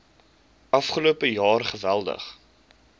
afgelope jaar geweldig